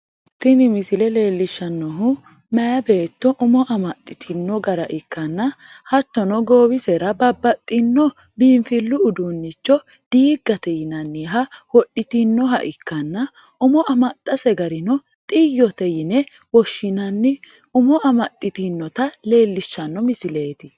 Tini misile leelishanohu mayi beetto umo amaxitino gara ikkanna hattono goowisera babbaxino biinfilu uduunicho diigate yinnanniha wodhitinoha ikkanna umo amaxase garino xiyote yene woshinnanni umo amaxitinota leelishano misileeti.